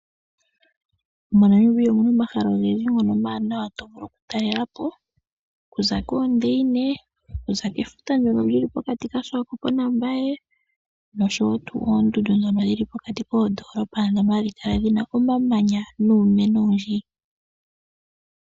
MoNamibia omuna omahala ogendji ngono omawanawa to vulu okutalela po. Okuza koondeyine, okuza kefuta ndono lyili pokati kaSwakop na Mbaye nosho wo tuu oondundu ndhono dhili pokati koodoolopa ndhono hadhi kala dhina omamanya nuumeno owundji.